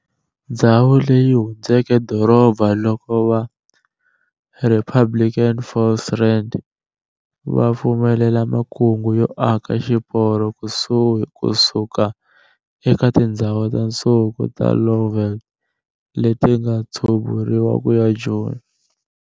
Ndzhawu leyi yi hundzuke doroba loko va Republican Volksraad va pfumelela makungu yo aka xiporo kusuka eka tindzhawu ta nsuku ta Lowveld letinga tshuburiwa kuya eJoni.